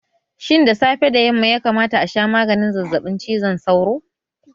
Shin da safe da yamma ya kamata a sha maganin zazzaɓin cizon sauron?